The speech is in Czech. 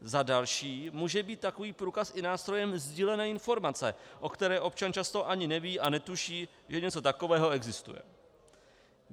Za další může být takový průkaz i nástrojem sdílené informace, o které občan často ani neví, a netuší, že něco takového existuje.